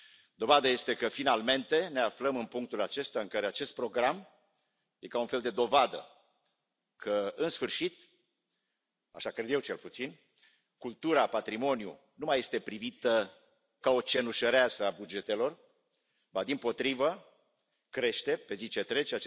Dovadă este că, finalmente, ne aflăm în punctul acesta, în care acest program e ca un fel de dovadă că, în sfârșit așa cred eu, cel puțin cultura, patrimoniul nu mai sunt privite ca o Cenușăreasă a bugetelor, ba, dimpotrivă, cresc pe zi ce trece.